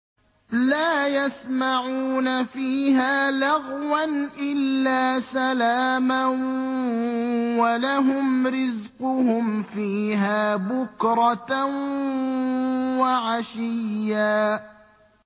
لَّا يَسْمَعُونَ فِيهَا لَغْوًا إِلَّا سَلَامًا ۖ وَلَهُمْ رِزْقُهُمْ فِيهَا بُكْرَةً وَعَشِيًّا